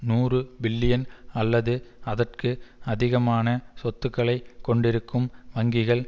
நூறு பில்லியன் அல்லது அதற்கு அதிகமான சொத்துக்களைக் கொண்டிருக்கும் வங்கிகள்